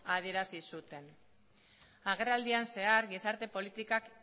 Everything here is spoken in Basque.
adierazi zuten agerraldian zehar gizarte politikak